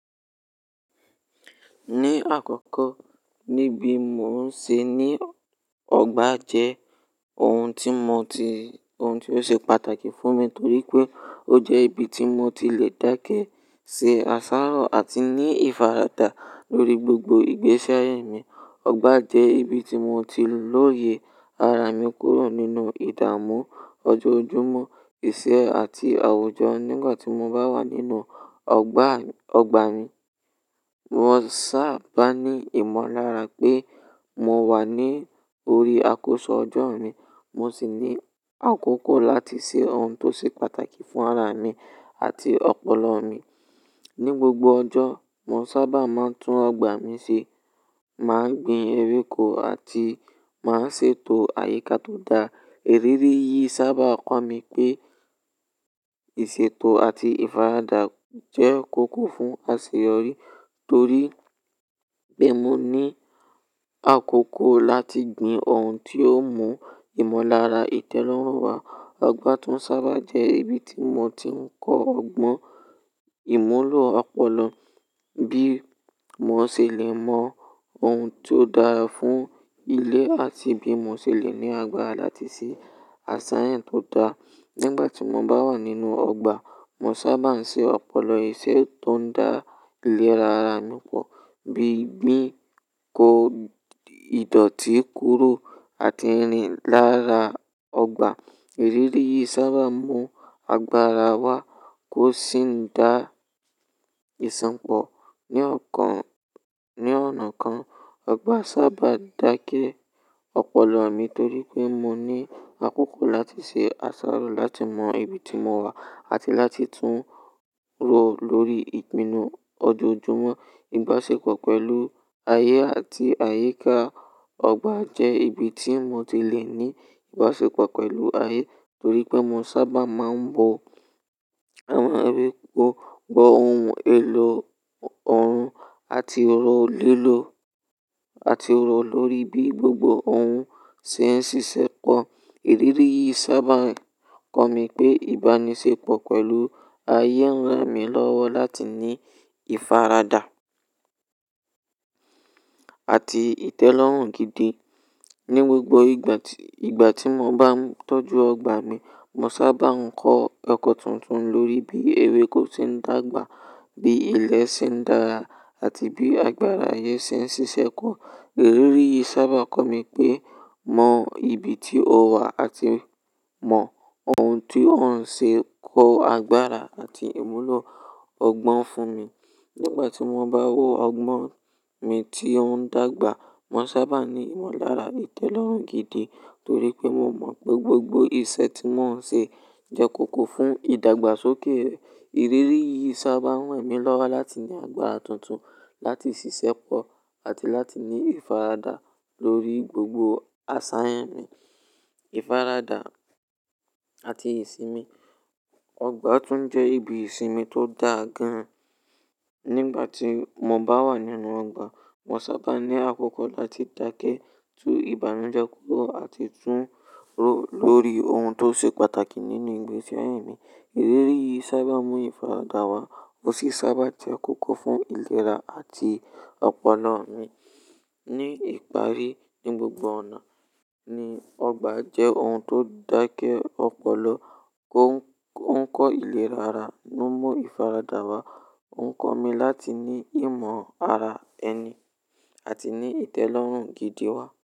Ní àkọ́kọ́, níbi mò ń ṣe ní ọgbà jẹ́ ohun tí mo ti, ohun tió ṣe pàtàkì fún mi torí pé ó jẹ́ ibi tí mo ti lè dákẹ́ ṣe àsáró àti ní ìfaradà lórí gbogbo ìgbésẹ́ ayé mi. Ọgbà jẹ́ ibi tí mo ti lòye ara mi kúrò nínú ìdàmú, ojoojúmọ́, iṣẹ́ àti àwùjọ. Nígbà tí mo bá wà nínú ọgbà, ọgbà mi, mo sábà ní ìmọ̀lára pé mo wà ní orí àkósọ ọjọ́ mi. Mo sì ní àkókò láti ṣe ohun tó ṣe pàtàkì fún ara mi àti ọpọlọ mi. Ní gbogbo ọjọ́, mo sábà máa ń tún ọgbà mi ṣe, màá gbin ewéko àti màá ṣe ètò àyíká tó dáa. Ìrírí yìí sábà kọ́ mi pé ìṣètò àti ìfaradà jẹ́ kókó fún àṣeyọrí torí pé mo ní àkókò láti gbin ohun tí ó mú ìmọ̀lára ìtẹ́lọ́rùn wá. Ọgbà tún sábà jẹ́ ibi tí mo ti ń kọ́ ọgbọ́n ìmúlò ọpọlọ, bí mo ṣe lè mọ ohun tó dára fún ilẹ̀ àti bí mo ṣe lè ní agbára láti ṣe àṣàyàn tó dáa. Nígbà tí mo bá wà nínú ọgbà, mo sábà ń ṣe ọpọlọ iṣẹ́ tó ń dá ilé ara mi pọ̀, bíi gbìn ko ìdọ̀tí kúrò àti rìn lára ọgbà. Ìrírí yìí sábà mú agbára wá kó sì ń dá ìṣọ̀pọ̀ ní ọ̀kàn, ní ọ̀nà kan. Ọgbà sábà ń dákẹ́ ọpọlọ mi torí pé mo ní àkókò láti ṣe àsáró láti mọ ibi tí mo wà àti láti tún rò lórí ìpinnu ojoojúmọ́. Ìbáṣepọ̀ pẹ̀lú ayé àti àyíká ọgbà jẹ́ ibi tí mo ti lè ní ìbáṣepọ̀ pẹ̀lú ayé torí pé mo sábà máa ń bo àwọn ewéko, gbo ohun èlò ọ̀run àti ro lè lo-- àti ro lórí bí gbogbo ohun ṣe ń ṣiṣẹ́pọ̀. Ìrírí yìí sábà ń kọ́ mi pé ìbánisẹ́pọ̀ pẹ̀lú ayé ń ràn mí lọ́wọ́ láti ní ìfaradà àti ìtẹ́lọ́rùn gidi. Ní gbogbo ìgbà tí, ìgbà tí mo bá ń tọ́jú ọgbà mi, mo sábà ń kọ ẹkọ tuntun lórí bí ewéko ṣe ń dàgbà, bí ilẹ̀ ṣe ń dára àti bí agbára ayé ṣe ń ṣiṣẹ́pọ̀. Ìrírí yìí sábà ń kọ́ mi pé mọ ibi tí o wà àti mọ ohun tí ó ń ṣe kó agbára àti ìmúlò ọgbọ́n fún mi. Nígbà tí mo bá wo ọgbọ́n mi tí ó ń dàgbà, mo sábà ní ìmọ̀lára ìtẹ́lọ́rùn gidi torí pé mo mọ̀ pé gbogbo iṣẹ́ tí mò ń ṣe jẹ́ kókó fún ìdàgbàsókè. Ìrírí yìí sábà ń ran mí lọ́wọ́ láti ní agbára tuntun láti ṣiṣẹ́pọ̀ àti láti ní ìfaradà lórí gbogbo àsàyàn mi. Ìfaradà àti ìsinmi, ọgbà tún jẹ́ ibi ìsinmi tó dáa gan. Nígbà tí mo bá wà nínú ọgbà, mo sábà ní àkókò láti dákẹ́ tún ìbànújẹ́ kúrò àti tún rò lórí ohun tó ṣe pàtàkì nínú ìgbésẹ́ mi. Ìrírí yìí sábà mú ìfaradà wá ó sì sábà jẹ́ kókó fún ìlera àti ọpọlọ mi. Ní ìparí, ní gbogbo ọ̀nà ni ọgbà jẹ́ ohun tó ń dákẹ́ ọpọlọ, kó ń kọ́ ìlera ara, ó ń mú ìfaradà wá, ó ń kọ́ mi láti ní ìmọ̀ ara ẹni àti ní ìtẹ́lọ́rùn gidi wá.